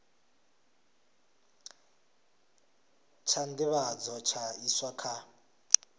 tsha nḓivhadzo tsha iswa kha